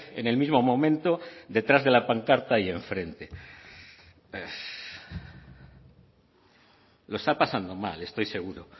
en el mismo momento detrás de la pancarta y en frente lo está pasando mal estoy seguro